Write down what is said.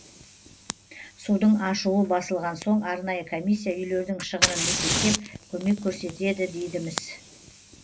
судың ашуы басылған соң арнайы комиссия үйлердің шығынын есептеп көмек көрсететі дейді міс